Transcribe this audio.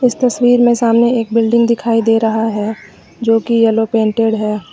तस्वीर में सामने एक बिल्डिंग दिखाई दे रहा है जो की येलो पेंटेड है।